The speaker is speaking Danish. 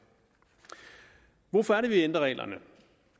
hvorfor er det vi ændrer reglerne